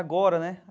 Agora, né?